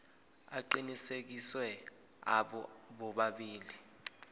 aqinisekisiwe abo bobabili